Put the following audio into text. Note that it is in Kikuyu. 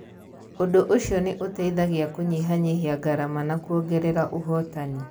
Ũndũ ũcio nĩ ũteithagia kũnyihanyihia ngarama na kwongerera ũhotani.